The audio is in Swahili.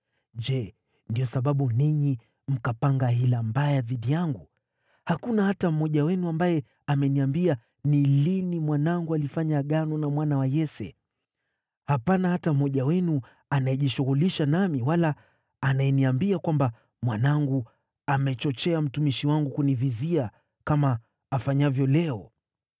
Je, ndiyo sababu ninyi mkapanga hila mbaya dhidi yangu? Hakuna hata mmoja wenu ambaye ameniambia ni lini mwanangu alifanya agano na mwana wa Yese. Hapana hata mmoja wenu anayejishughulisha nami wala anayeniambia kwamba mwanangu amechochea mtumishi wangu kunivizia, kama afanyavyo leo.”